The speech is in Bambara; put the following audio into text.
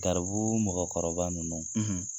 Garibuu mɔgɔkɔrɔba ninnu